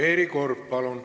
Valeri Korb, palun!